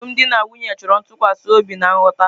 Alụmdi na nwunye chọrọ ntụkwasị obi na nghọta.